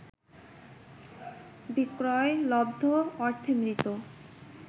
বিক্রয়লব্ধ অর্থে মৃৃত